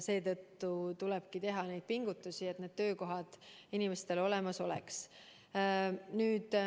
Seetõttu tulebki teha pingutusi, et töökohad inimestel olemas oleks.